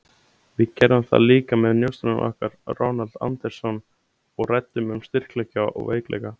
Við gerðum það líka með njósnaranum okkar, Ronald Andersson, og ræddum um styrkleika og veikleika.